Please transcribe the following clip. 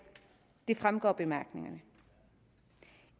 det fremgår af bemærkningerne